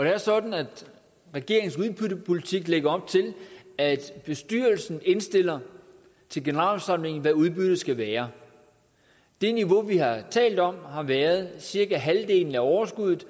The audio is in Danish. er sådan at regeringens udbyttepolitik lægger op til at bestyrelsen indstiller til generalforsamlingen hvad udbyttet skal være det niveau vi har talt om har været cirka halvdelen af overskuddet